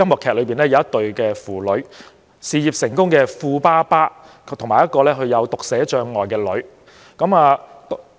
劇中的一對父女是事業成功的富爸爸和他患有讀寫障礙的女兒。